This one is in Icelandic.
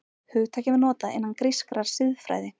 Hugtakið var notað innan grískrar siðfræði.